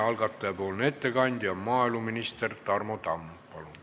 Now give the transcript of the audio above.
Algataja ettekandja maaeluminister Tarmo Tamm, palun!